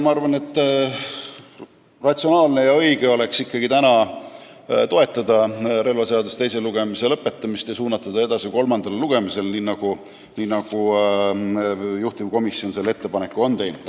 Ma arvan, et ratsionaalne ja õige oleks ikkagi täna toetada relvaseaduse teise lugemise lõpetamist ja suunata see eelnõu edasi kolmandale lugemisele, nii nagu juhtivkomisjon ettepaneku on teinud.